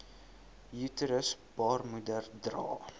uterus baarmoeder dra